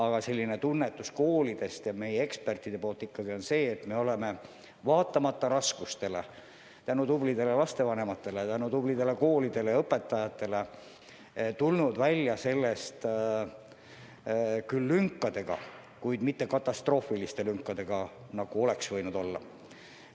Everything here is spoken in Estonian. Aga selline tunnetus koolidel ja meie ekspertidel ikkagi on, et me oleme vaatamata raskustele tänu tublidele lastevanematele, tänu tublidele koolidele ja õpetajatele tulnud sellest välja küll lünkadega, kuid mitte katastroofiliste lünkadega, nagu oleks võinud olla.